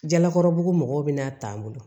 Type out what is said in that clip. Jalakɔrɔbugu mɔgɔw bɛna taa n bolo